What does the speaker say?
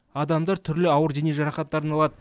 адамдар түрлі ауыр дене жарақаттарын алады